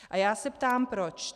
A já se ptám proč.